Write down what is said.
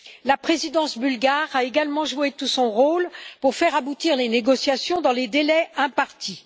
La présidence bulgare a également joué tout son rôle pour faire aboutir les négociations dans les délais impartis.